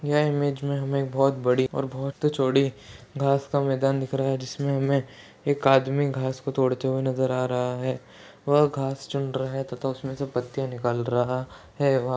यह इमेज में हमें बहोत बड़ी और बहोत चौड़ी घास का मैदान दिख रहा है जिसमें हमें एक आदमी घास को तोड़ते हुए नजर आ रहा है वह घास चुन रहा है तथा उसमे से पत्तियां निकाल रहा है।